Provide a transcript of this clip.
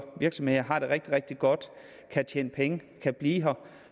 og virksomheder har det rigtig rigtig godt og kan tjene penge og blive her